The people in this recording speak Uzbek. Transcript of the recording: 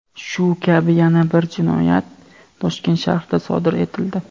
Shu kabi yana bir jinoyat Toshkent shahrida sodir etildi.